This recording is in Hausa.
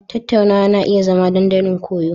Tattaunawa na iya zama dandalin koyo.